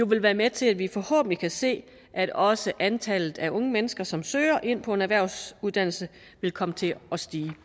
vil være med til at vi forhåbentlig kan se at også antallet af unge mennesker som søger ind på en erhvervsuddannelse vil komme til at stige